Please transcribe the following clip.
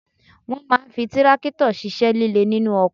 Wọ́n máa ń fi tírákítọ̀ ṣíṣẹ́ líle nínú oko